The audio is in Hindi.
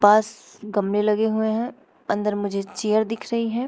आस गमले लगे हुए हैं अंदर मुझे चेयर दिख रही है।